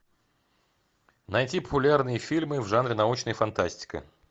найти популярные фильмы в жанре научная фантастика